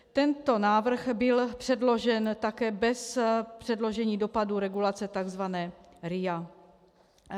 Tento návrh byl předložen také bez předložení dopadu regulace, tzv. RIA.